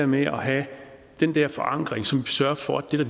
med at have den der forankring som sørger for at det der